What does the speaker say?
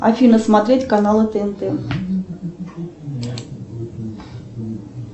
афина смотреть каналы тнт